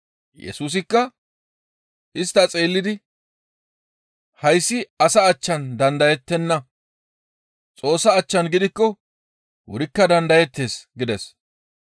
Yesusikka istta xeellidi, «Hayssi asa achchan dandayettenna; Xoossa achchan gidikko wurikka dandayettees» gides.